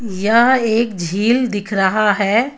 यह एक झील दिख रहा है.